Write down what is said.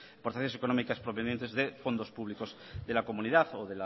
procesos económicas provenientes de fondos públicos de la comunidad o